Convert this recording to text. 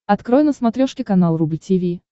открой на смотрешке канал рубль ти ви